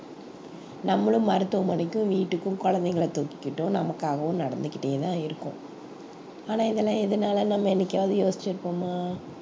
நம்மளும் மருத்துவமனைக்கும் வீட்டுக்கும் குழந்தைகளை தூக்கிக்கிட்டும் நமக்காகவும் நடந்துக்கிட்டே தான் இருக்கோம் ஆனா இதெல்லாம் எதனாலன்னு நம்ம என்னைக்காவது யோசிச்சிருப்போமா